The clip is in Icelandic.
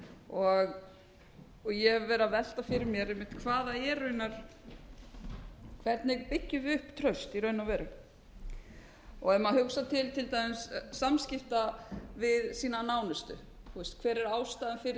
og ég hef verið að velta fyrir mér einmitt hvernig byggjum við upp traust í raun og veru ef maður hugsar til til dæmis samskipta við sína nánustu hver er